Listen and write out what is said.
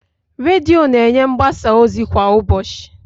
Redio na-enye mgbasa ozi kwa ụbọchị.